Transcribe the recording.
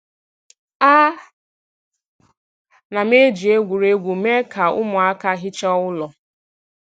A na m eji egwuregwu mee ka ụmụaka hichaa ụlọ